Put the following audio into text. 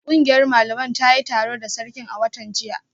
Kungiyar malaman ta yi taro da sarkin a watan jiya